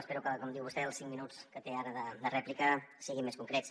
espero que com diu vostè els cinc minuts que té ara de rèplica siguin més concrets